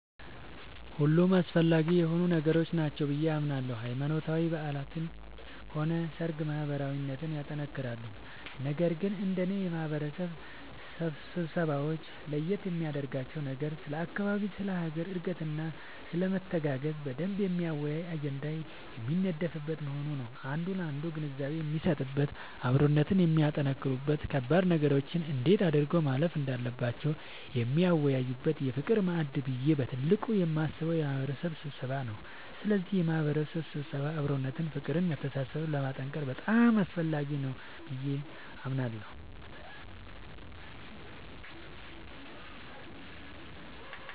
ሁሉም አስፈላጊ የሆኑ ነገሮች ናቸው ብዬ አምናለሁ ሃይማኖታዊ በዓላትም ሆነ ሰርግ ማህበራዊነትን ያጠነክራሉ ነገር ግን እንደኔ የማህበረሰብ ስብሰባወች ለየት የሚያደርጋቸው ነገር ስለ አካባቢ ስለ ሀገር እድገትና ስለመተጋገዝ በደንብ የሚያወያይ አጀንዳ የሚነደፍበት መሆኑ ነዉ አንዱ ላንዱ ግንዛቤ የሚሰጥበት አብሮነትን የሚያጠነክሩበት ከባድ ነገሮችን እንዴት አድርገው ማለፍ እንዳለባቸው የሚወያዩበት የፍቅር ማዕድ ብዬ በትልቁ የማስበው የማህበረሰብ ስብሰባን ነዉ ስለዚህ የማህበረሰብ ስብሰባ አብሮነትን ፍቅርን መተሳሰብን ለማጠንከር በጣም አስፈላጊ ነገር ነዉ ብዬ አስባለሁ።